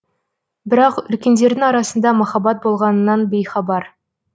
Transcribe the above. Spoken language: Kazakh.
бірақ үлкендердің арасында махаббат болғанынан бейхабар